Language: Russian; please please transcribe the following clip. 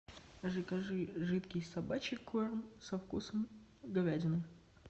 закажи жидкий собачий корм со вкусом говядины